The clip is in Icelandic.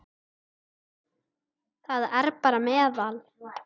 Það er bara meðal.